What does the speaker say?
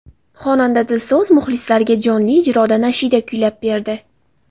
Xonanda Dilso‘z muxlislariga jonli ijroda nashida kuylab berdi.